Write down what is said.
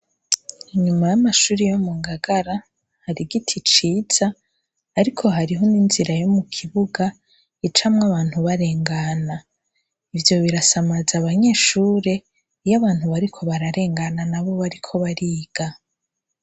Inyuma y'amashuri yo mu Ngagara harigiti ciza, ariko hariho n'inzira yo mu kibuga icamw’abantu barengana , ivyo birasamaz’abanyeshure iy’abantu bariko bararengana na bo bariko bariga.